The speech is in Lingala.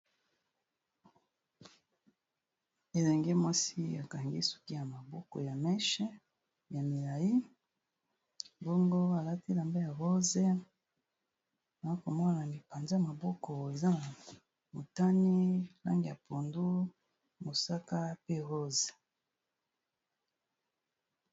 Elenge mwasi akangi suki ya maboko ya mèche ya milayi bongo alati elamba ya rose nazomona lipanza maboko eza na motani langi ya pondu, mosaka pe rose.